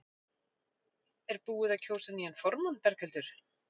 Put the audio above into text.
Er búið að kjósa nýjan formann Berghildur?